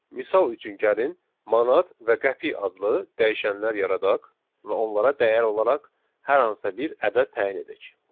Misal üçün gəlin manat və qəpik adlı dəyişənlər yaradaq və onlara dəyər olaraq hər hansısa bir ədəd təyin edək.